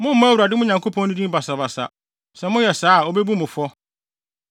Mommmɔ Awurade, mo Nyankopɔn no, din basabasa. Sɛ moyɛ saa a, obebu mo fɔ.